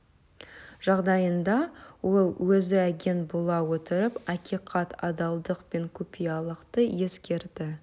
жағдайында ол өзі агент бола отырып ақиқат адалдық пен құпиялылықты ескерді